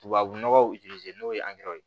Tubabu nɔgɔ n'o ye ye